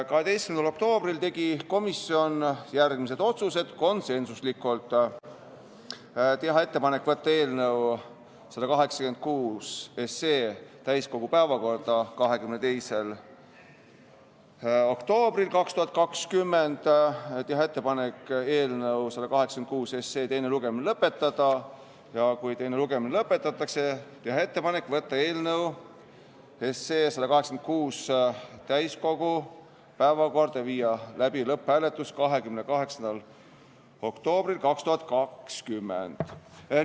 12. oktoobril tegi komisjon järgmised konsensuslikud otsused: teha ettepanek saata eelnõu 186 täiskogu päevakorda 22. oktoobriks 2020, teha ettepanek eelnõu 186 teine lugemine lõpetada ja kui teine lugemine lõpetatakse, siis teha ettepanek saata eelnõu 186 täiskogu päevakorda 28. oktoobriks 2020 ja viia läbi lõpphääletus.